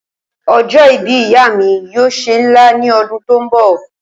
Ojo ibi iya mi yoo se nla ni odun to nbo.